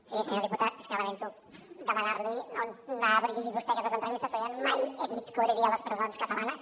sí senyor diputat és que lamento demanar li on ha llegit vostè aquestes entrevistes perquè jo mai he dit que obriria les presons catalanes